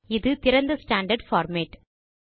இது திறந்த standard format